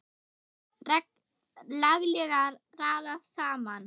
Laglega raðað saman!